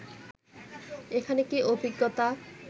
এখানে কি অভিজ্ঞতা